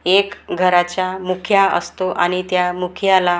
एक घराचा मुखिया असतो आणि त्या मुखियाला अ--